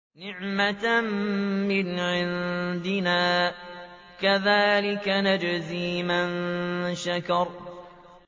نِّعْمَةً مِّنْ عِندِنَا ۚ كَذَٰلِكَ نَجْزِي مَن شَكَرَ